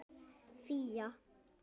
Fía